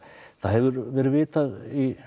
það hefur verið vitað